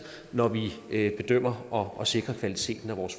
når vi bedømmer og og sikrer kvaliteten af vores